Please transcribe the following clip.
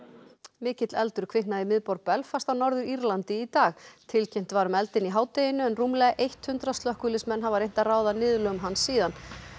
mikill eldur kviknaði í miðborg Belfast á Norður Írlandi í dag tilkynnt var um eldinn í hádeginu en rúmlega eitt hundrað slökkviliðsmenn hafa reynt að ráða niðurlögum hans síðan